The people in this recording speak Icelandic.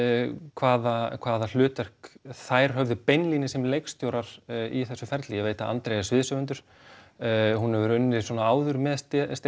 hvaða hvaða hlutverk þær höfðu beinlínis sem leikstjórar í þessu ferli ég veit að Andrea er sviðshöfundur hún hefur unnið svona áður með